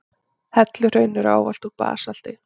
Helluhraun eru ávallt úr basalti.